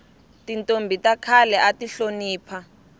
tintombhi ta khale ati hlonipha